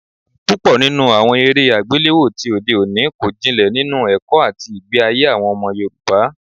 Púpọ̀ nínú àwọn eré àgbéléwò tí òde òní kò jinlẹ̀ nínú ẹ̀kọ́ àti ìgbé ayé àwọn ọmọ Yorùbá